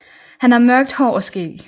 Han har mørkt hår og skæg